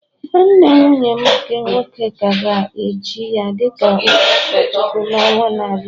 Nwanne nwunye m nke nwoke ka a ga-echi ya dị ka onye ụkọchukwu n’ọnwa na-abịa